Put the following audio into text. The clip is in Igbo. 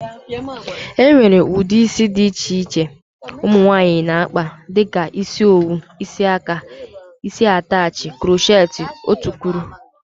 E nwere ụdị isi dị iche iche ụmụnwaanyi na-akpa dịka isi owu,, isi aka, isi atachị, croocheti ,otukwuru wdg.